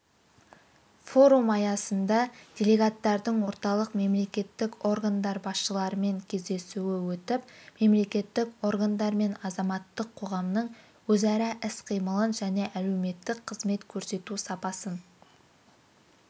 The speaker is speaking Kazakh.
форум аясында делегаттардың орталық мемлекеттік органдар басшыларымен кездесуі өтіп мемлекеттік органдар мен азаматтық қоғамның өзара іс-қимылын және әлеуметтік қызмет көрсету сапасын